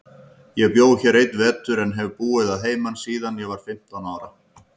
Ég bjó hér einn vetur, en hef búið að heiman síðan ég var fimmtán ára.